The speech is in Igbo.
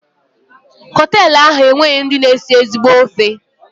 Hotelu a enweghị ndị na esi ezigbo ofe.